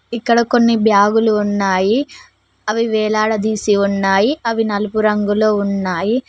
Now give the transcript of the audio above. ఇక్కడ కొన్ని బ్యాగులు ఉన్నాయి అవి వేలాడదీసి ఉన్నాయి అవి నలుపు రంగులో ఉన్నాయి.